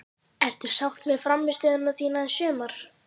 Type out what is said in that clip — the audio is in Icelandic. Ertu sátt með frammistöðuna þína í sumar?